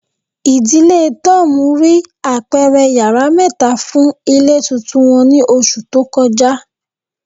Idile Tom rii apẹrẹ yara mẹta fun ile tuntun wọn ni oṣu to kọja